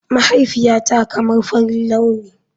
Mahaifiyata kamar farin launi.